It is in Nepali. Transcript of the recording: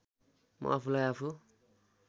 म आफूलाई आफू